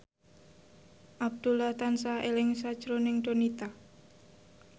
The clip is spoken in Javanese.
Abdullah tansah eling sakjroning Donita